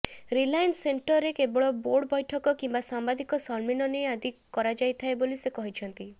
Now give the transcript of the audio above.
Reliance ସେଣ୍ଟରରେ କେବଳ board ବୈଠକ କିମ୍ବା ସାମ୍ବାଦିକ ସମ୍ମିଳନୀ ଆଦି କରାଯାଇଥାଏ ବୋଲି ସେ କହିଛନ୍ତି